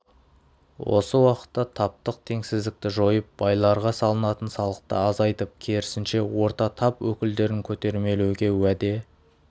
осы уақытта таптық теңсіздікті жойып байларға салынатын салықты азайтып керісінше орта тап өкілдерін көтермелеуге уәде